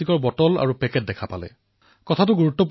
এয়া এনে এক কাহিনী যাৰ দ্বাৰা সকলো ভাৰতবাসী অনুপ্ৰেৰিত হব পাৰে